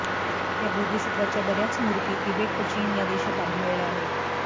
या बोधिसत्त्वाच्या बऱ्याच मूर्ती तिबेट व चीन या देशांत आढळल्या आहेत